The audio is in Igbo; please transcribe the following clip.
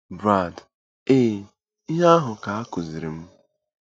Brad: Ee, ihe ahụ ka a kụziiri m.